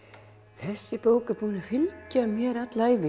þessi bók er búin að fylgja mér alla ævi